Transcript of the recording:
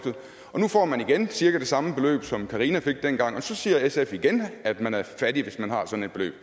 og nu får man igen cirka det samme beløb som karina fik dengang og så siger sf igen at man er fattig hvis man har sådan et beløb